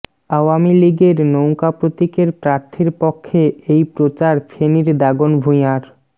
আওয়ামী লীগের নৌকা প্রতীকের প্রার্থীর পক্ষে এই প্রচার ফেনীর দাগনভূঞার